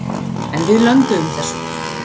En við lönduðum þessu.